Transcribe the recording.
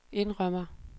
indrømmer